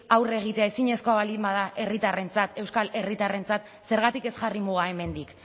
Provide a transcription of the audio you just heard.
aurre egitea ezinezkoa baldin bada herritarrentzat euskal herritarrentzat zergatik ez jarri mugak hemendik